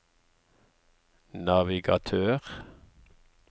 navigatør